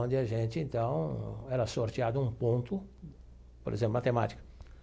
Onde a gente, então, era sorteado um ponto, por exemplo, matemática.